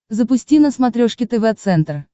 запусти на смотрешке тв центр